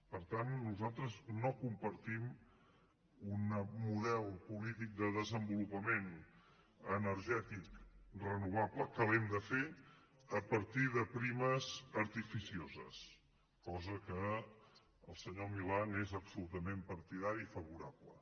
per tant nosaltres no compartim un model polític de desenvolupament energètic renovable que l’hem de fer a partir de primes artificioses cosa que el senyor milà n’és absolutament partidari i favorable